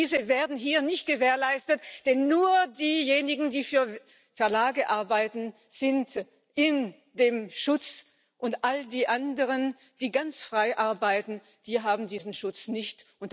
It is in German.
Und diese werden hier nicht gewährleistet, denn nur diejenigen, die für Verlage arbeiten, sind in dem Schutz, und all die anderen, die ganz frei arbeiten, die haben diesen Schutz nicht.